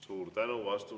Suur tänu!